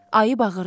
Ayı bağırdı.